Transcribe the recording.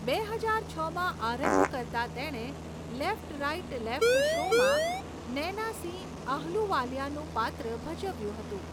બે હજાર છમાં આરંભ કરતાં તેણે 'લેફ્ટ રાઈટ લેફ્ટ' શોમાં નૈના સિંહ આહલુવાલિયાનું પાત્ર ભજવ્યું હતું.